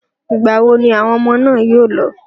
Ìgbà wo ni àwọn ọmọ náà yóò lọ?